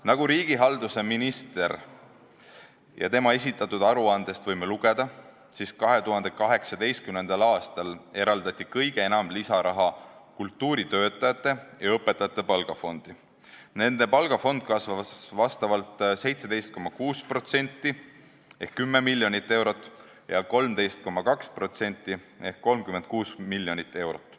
Nagu riigihalduse ministri esitatud aruandest võime lugeda, eraldati 2018. aastal kõige enam lisaraha kultuuritöötajate ja õpetajate palgafondi: nende palgafond kasvas vastavalt 17,6% ehk 10 miljonit eurot ja 13,2% ehk 36 miljonit eurot.